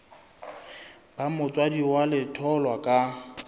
ba motswadi wa letholwa ka